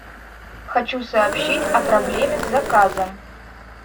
хочу сообщить о проблеме с заказом